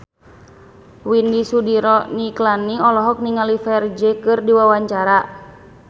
Widy Soediro Nichlany olohok ningali Ferdge keur diwawancara